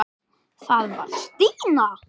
Það var Stína.